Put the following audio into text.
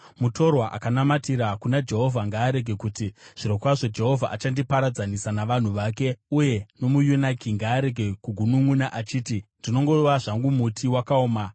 Mutorwa akanamatira kuna Jehovha ngaarege kuti, “Zvirokwazvo Jehovha achandiparadzanisa navanhu vake.” Uye nomuyunaki ngaarege kugununʼuna achiti, “Ndinongova zvangu muti wakaoma.”